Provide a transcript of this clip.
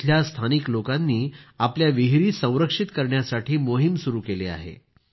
इथल्या स्थानिक लोकांनी आपल्या विहिरी संरक्षित करण्यासाठी मोहीम सुरू केली आहे